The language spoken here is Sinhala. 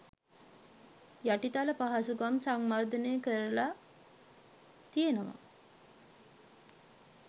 යටිතල පහසුකම් සංවර්ධනය කරල තියනවා.